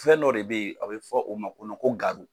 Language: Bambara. Fɛn dɔ de bɛyi a bɛ fɔ o ma ko